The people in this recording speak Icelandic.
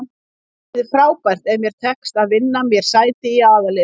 Það yrði frábært ef mér tekst að vinna mér sæti í aðalliðinu.